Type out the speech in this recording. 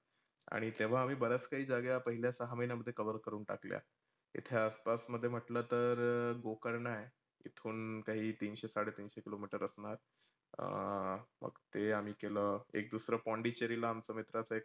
आणि तेव्हा आम्ही बऱ्याच काही जागा पहिल्या सहा महिन्यामध्ये cover करूण टाकल्या. इथे आस पास मध्ये म्हटलं तर गोकर्ण आहे. इथून काही तीनशे साडेतीनशे kilometer असणार. आह मग ते आम्ही केल, एक दुसर पोंडीचेरीला आमचं मित्राचा एक